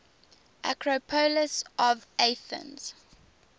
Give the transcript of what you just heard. acropolis of athens